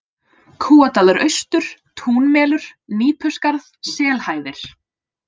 Kúadalur austur, Túnmelur, Nípuskarð, Selhæðir